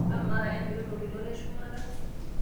amaa emiro toltoito le shumata